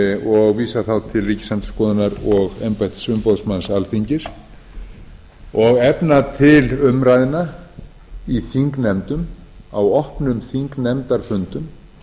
og vísa þá til ríkisendurskoðunar og embættis umboðsmanns alþingis og efna til umræðna í þingnefndum á opnum þingnefndarfundum